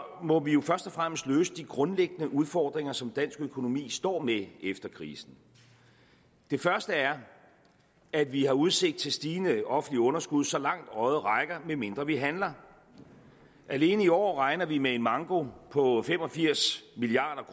må vi jo først og fremmest løse de grundlæggende udfordringer som dansk økonomi står med efter krisen det første er at vi har udsigt til et stigende offentligt underskud så langt øjet rækker medmindre vi handler alene i år regner vi med en manko på fem og firs milliard